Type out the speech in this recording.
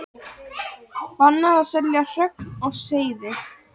Bannað að selja hrogn og seiði